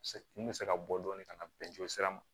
Se kun bɛ se ka bɔ dɔɔnin ka na bɛn sira ma